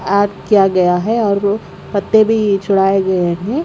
आग किया गया है और वो पत्ते भी छुड़ाए गए हैं।